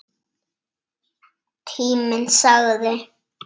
Tíminn sagði